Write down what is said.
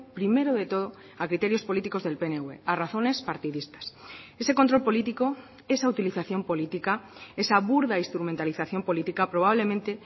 primero de todo a criterios políticos del pnv a razones partidistas ese control político esa utilización política esa burda instrumentalización política probablemente